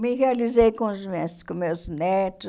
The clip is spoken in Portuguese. Me realizei com as minhas com os meus netos.